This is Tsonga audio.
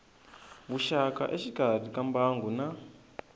vuxaka exikarhi ka mbangu na